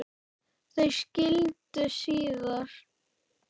Þau skildu síðar.